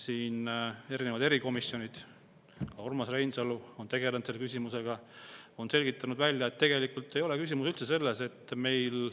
Siin on erikomisjonid, ka Urmas Reinsalu tegelenud selle küsimusega, on selgitanud välja, et tegelikult ei ole asi üldse selles, et meil